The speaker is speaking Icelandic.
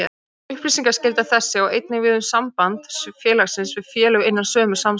Upplýsingaskylda þessi á einnig við um samband félagsins við félög innan sömu samstæðu.